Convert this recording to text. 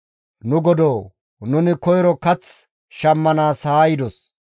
«Nu godoo! Nuni koyro kath shammanaas haa yidos;